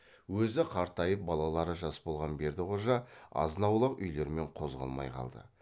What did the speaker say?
өзі қартайып балалары жас болған бердіқожа азынаулақ үйлермен қозғалмай қалды